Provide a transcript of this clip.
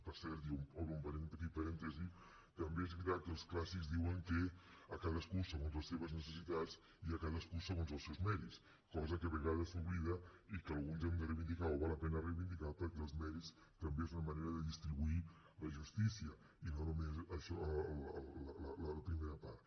per cert i obro un petit parèntesi també és veritat que els clàssics diuen que a cadascú segons les seves necessitats i a cadascú segons els seus mèrits cosa que a vegades s’oblida i que alguns hem de reivindicar o val la pena reivindicar perquè els mèrits també són una manera de distribuir la justícia i no només la primera part